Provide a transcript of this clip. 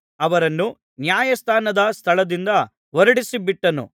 ಅವರನ್ನು ನ್ಯಾಯಾಸ್ಥಾನದ ಸ್ಥಳದಿಂದ ಹೊರಡಿಸಿಬಿಟ್ಟನು